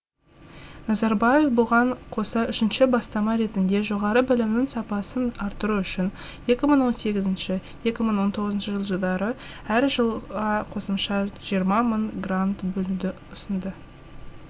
назарбаев бұған қоса үшінші бастама ретінде жоғары білімнің сапасын арттыру үшін екі мың он сегізінші екі мың он тоғызыншы жылдары әр жылға қосымша жиырма мың грант бөлуді ұсынды